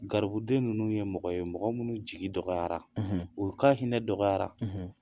Garibuden ninnu ye mɔgɔ ye mɔgɔ minnu jigi dɔgɔyara u ka hinɛ dɔgɔyara